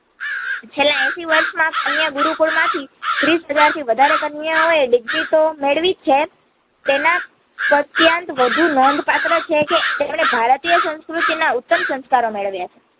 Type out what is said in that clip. છેલ્લા એસી વર્ષમાં કન્યાગુરુકુળમાંથી ત્રીશ હજારથી વધારે કન્યાઓએ degree તો મેળવીજ છે તેના પ્રત્યાંત વધુ નોંદપાત્ર છે કે તેમણે ભારતીય સંસ્કૃતિના ઉત્તમ સંસ્કારો મેળવ્યા છે